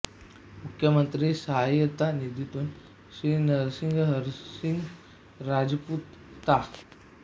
मुख्यमंत्री सहाय्यता निधीतून श्री नरसिंग हरसिंग राजपुत ता